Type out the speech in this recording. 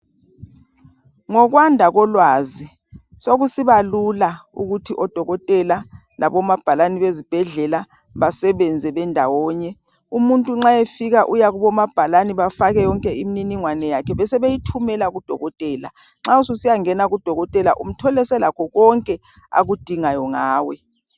Ngikwanda kolwazi sokusiba lula ukuthi odokotela labomabhalani bezibhedlela basebenze bendawonye umuntu nxa efika uyakubo mabhalani afake imniningwane yakhe besebeyithumela kudokotela nxa ususiya ngena kudokotela uthole selakho konke akudingayo ngawe.